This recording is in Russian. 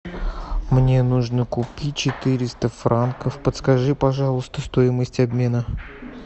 мне нужно купить четыреста франков подскажи пожалуйста стоимость обмена